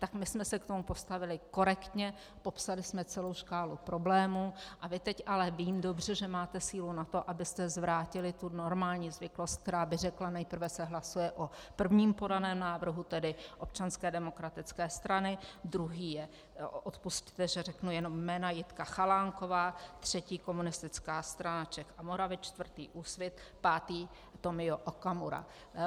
Tak my jsme se k tomu postavili korektně, popsali jsme celou škálu problémů a vy teď - ale vím dobře, že máte sílu na to, abyste zvrátili tu normální zvyklost, která by řekla: Nejprve se hlasuje o prvním podaném návrhu, tedy Občanské demokratické strany, druhý je, odpusťte, že řeknu jenom jména, Jitka Chalánková, třetí Komunistická strana Čech a Moravy, čtvrtý Úsvit, pátý Tomio Okamura.